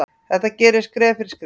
Þetta gerist skref fyrir skref.